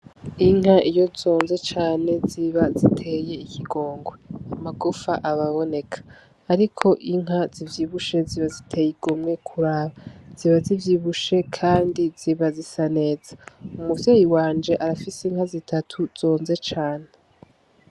Inka iyo zonze cane ziba ziteye ikigongwe amagufa aba aboneka ariko inka zivyibushe ziba ziteye igomwe kuraba ziba zivyibushe kandi ziba zisa neza umuvyeyi wanje arafise inka zitatu zonze cane.